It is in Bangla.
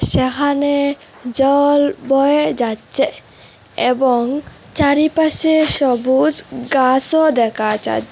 যাহানে জল বয়ে যাচ্চে এবং চারিপাশে সবুজ গাসও দেকা যাচ--